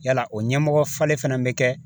Yala o ɲɛmɔgɔ falen fana bɛ kɛ